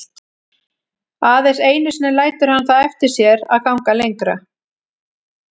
Aðeins einu sinni lætur hann það eftir sér að ganga lengra.